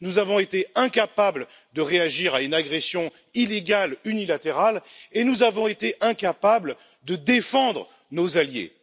Nous avons été incapables de réagir à une agression illégale unilatérale et nous avons été incapables de défendre nos alliés.